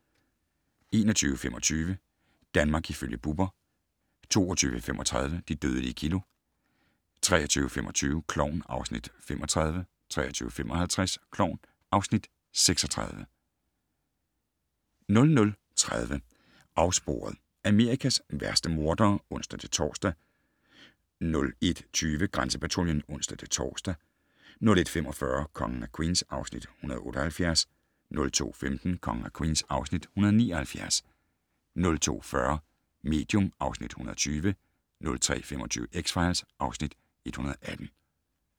21:25: Danmark ifølge Bubber 22:35: De dødelige kilo 23:25: Klovn (Afs. 35) 23:55: Klovn (Afs. 36) 00:30: Afsporet - Amerikas værste mordere (ons-tor) 01:20: Grænsepatruljen (ons-tor) 01:45: Kongen af Queens (Afs. 178) 02:15: Kongen af Queens (Afs. 179) 02:40: Medium (Afs. 120) 03:25: X-Files (Afs. 118)